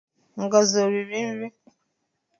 Ngozi o riri nri?